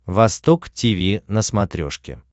восток тиви на смотрешке